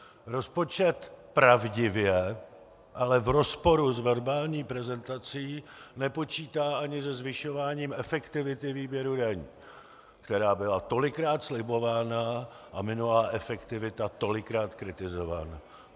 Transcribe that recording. Rozpočet pravdivě, ale v rozporu s verbální prezentací nepočítá ani se zvyšováním efektivity výběru daní, která byla tolikrát slibována a minulá efektivita tolikrát kritizována.